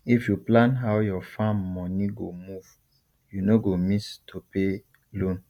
if you plan how your farm money go move you no go miss to pay loan